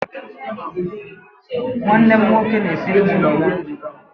Nwanne m nwoke na-esiri nwunye ya nri.